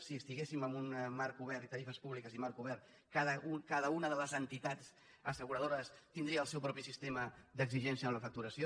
si estiguéssim en un marc obert tarifes públiques i marc obert cada una de les entitats asseguradores tindria el seu propi sistema d’exigència en la facturació